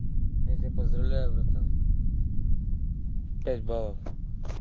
я тебя поздравляю братан пять балов